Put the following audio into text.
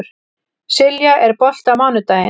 Silja, er bolti á mánudaginn?